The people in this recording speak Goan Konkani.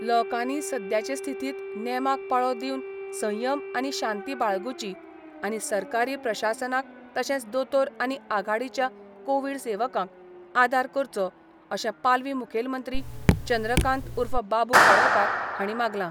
लोकांनी सद्याचे स्थितीत नेमाक पाळो दिवन संयम आनी शांती बाळगुची आनी सरकारी प्रशासनाक तशेच दोतोर आनी आघाडीच्या कोविड सेवकांक आदार करचो अशे पालवी मुखेलमंत्री चंद्रकांत उर्फ बाबू कवळेकार हाणी मांगला.